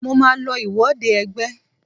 Mo màá lo ìwọde ẹgbẹ́.